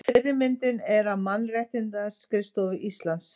Fyrri myndin er af Mannréttindaskrifstofu Íslands.